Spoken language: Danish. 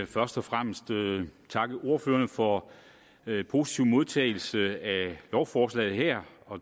først og fremmest takke ordførerne for positiv modtagelse af lovforslaget her